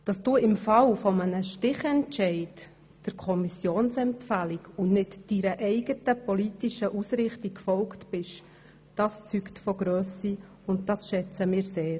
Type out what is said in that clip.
Dass du im Fall eines Stichentscheids der Kommissionsempfehlung und nicht deiner eigenen politischen Ausrichtung gefolgt bist, zeugt von Grösse, und das haben wir sehr geschätzt.